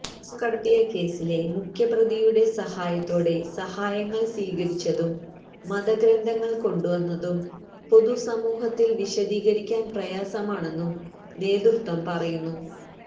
സ്വര്ണം കടത്തിയ കേസിലെ മുഖ്യപ്രതിയുടെ സഹായത്തോടെ സഹായങ്ങള് സ്വീകരിച്ചതും മതഗ്രന്ഥങ്ങള് കൊണ്ടുവന്നതും പൊതുസമൂഹത്തില് വിശദീകരിക്കാന് പ്രയാസമാണെന്നു നേതൃത്വം പറയുന്നു